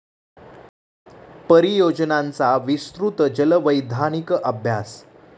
परीयोजनांचा विस्तृत जल वैधानिक अभ्यास